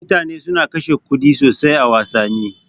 Mutane suna kashe kuɗi sosai a wassani.